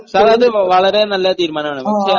Sir അത് വളരെ നല്ലൊരു തീരുമാനമാണ്.